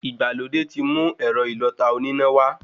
Ìgbàlódé ti mú ẹ̀rọ ìlọta oníná wá